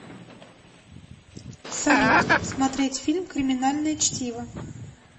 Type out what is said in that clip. салют смотреть фильм криминальное чтиво